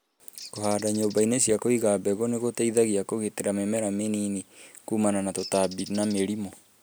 Kũhanda nyũmba-inĩ cia kũiga mbegũ nĩ gũteithagia kũgitira mĩmera mĩnini kumana na tũtambi na mĩrimũ